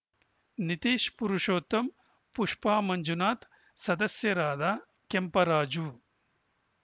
ನಿತೀಶ್‌ ಪುರುಷೋತ್ತಮ್‌ ಪುಷ್ಪ ಮಂಜುನಾಥ ಸದಸ್ಯರಾದ ಕೆಂಪರಾಜು